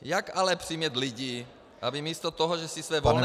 Jak ale přimět lidi, aby místo toho, že si své volné peníze -